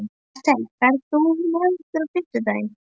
Bertel, ferð þú með okkur á fimmtudaginn?